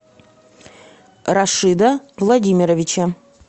рашида владимировича